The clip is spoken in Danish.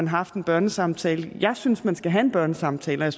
haft en børnesamtale jeg synes man skal have en børnesamtale og